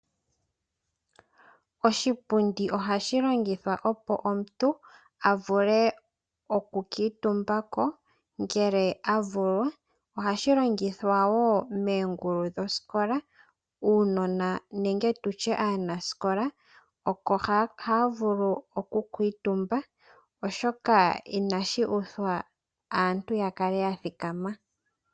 Oshipundi ohashi longithwa opo omuntu a vuke okukutumba ko ngele a vulwa. Ohashi longithwa wo moongulu dhoosikola uunona nenge tutye aanasikola oko haya vulu okukutumba, oshoka inashi uthwa aantu ya kale ya thikama.